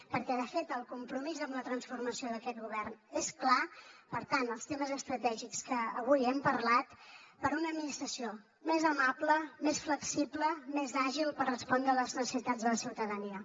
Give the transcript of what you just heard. perquè de fet el compromís amb la transformació d’aquest govern és clar per tant els temes estratègics que avui hem parlat per a una administració més amable més flexible més àgil per respondre a les necessitats de la ciutadania